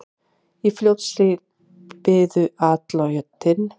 Í Fljótshlíð biðu atlotin.